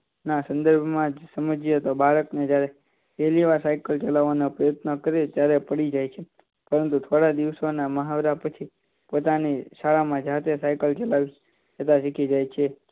સંદર્ભમાં સમજે તો બાળકને જ્યારે પહેલીવાર સાયકલ ચલાવવાનો પ્રયત્ન કરે ત્યારે પડી જાય છે થોડા દિવસના મહાવરા પછી પોતાની શાળામાં જાતે સાયકલ ચલાવતા શીખી જાય છે